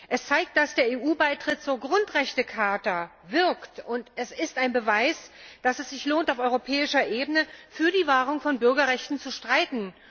Es zeigt, dass der EU Beitritt zur Grundrechtecharta wirkt und es ist ein Beweis, dass es sich lohnt, auf europäischer Ebene für die Wahrung von Bürgerrechten zu streiten.